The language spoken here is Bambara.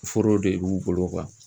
Foro de b'u bolo